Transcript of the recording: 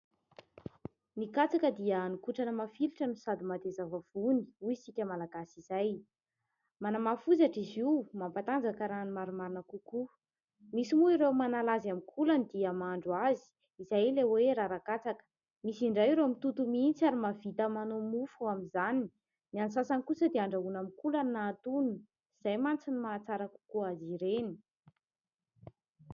Ny katsaka dia hani-kotrana mafilotra no sady mateza vavony hoy isika malagasy izay, manamafy hozatra izy io, mampatanjaka raha ny marimarina kokoa. Misy moa ireo manala azy amin'ny kolany dia mahandro azy, izay ilay hoe rara-katsaka. Misy indray ireo mitoto mihintsy ary mahavita manao mofo amin'izany. Ny an'ny sasany kosa dia handrahoina amin'ny kolany na hatono, izay mantsy ny maha tsara kokoa azy ireny.